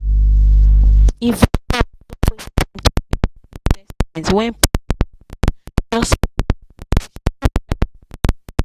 investors no waste time to change their investments when price of market just waka go up sharp sharp.